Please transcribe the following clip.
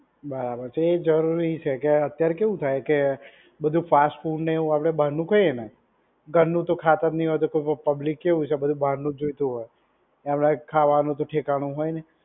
બરાબર છે. તો એ જરૂરી છે કે અત્યારે કેવું થાય કે બધુ ફાસ્ટ ફૂડને એવું આપડે બહારનું ખાઈએ ને ઘરનું તો ખાતા જ નહીં હોય તો પબ્લિક કેવું છે બધુ બહારનું જ જોઈતું હોય. એમનાય ખાવાનું તો ઠેકાણું હોય નહીં.